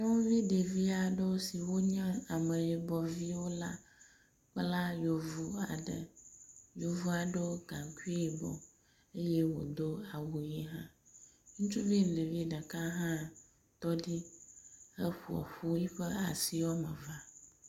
Nyɔnuvi ɖevi aɖewo si wonye ameyibɔ viwo la kpla yevu aɖe. yevua ɖo gaŋkui yibɔ eye wodo awu ʋi hã. Ŋutsuvi ɖevi ɖeka hã tɔ ɖi heƒoƒu yiƒe asi wɔme evea.